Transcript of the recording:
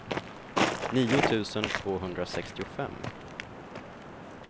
nio tusen tvåhundrasextiofem